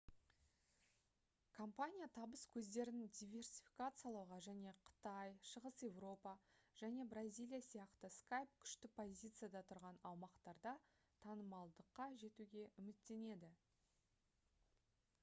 компания табыс көздерін диверсификациялауға және қытай шығыс еуропа және бразилия сияқты skype күшті позицияда тұрған аумақтарда танымалдыққа жетуге үміттенеді